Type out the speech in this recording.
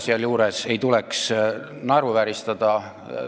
Sealjuures ei tuleks ka emotsioone naeruvääristada.